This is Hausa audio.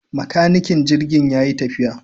Makanikin jirgin yayi tafiya